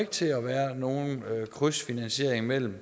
til at være nogen krydsfinansiering mellem